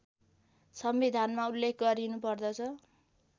संविधानमा उल्लेख गरिनुपर्दछ